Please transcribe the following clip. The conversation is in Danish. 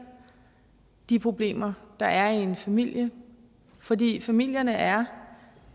de problemer der er i en familie fordi familierne er